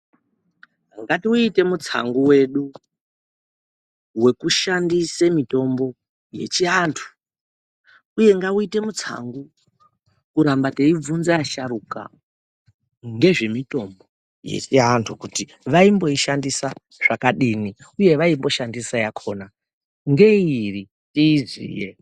Ngatiwuitei mutsangu wedu, wekushandise mitombo yechiantu uye ngatiwuite mutsangu kuramba teibvunza asharuka ngezvemitombo kuti vaimboshandisa yakadini uye yavaimboshandisa yakhona ngeiri tiiziye.